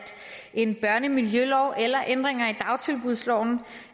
en børnemiljølov eller ændringer i dagtilbudsloven